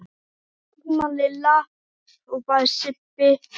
Taktu tímann Lilla! hrópaði Sibbi.